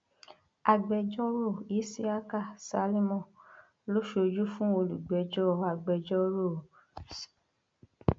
agbẹjọrò isiaka salimon ló ṣojú fún olùpẹjọ agbẹjọrò s